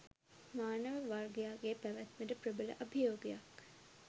මානව වර්ගයාගේ පැවැත්මට ප්‍රබල අභියෝගයක්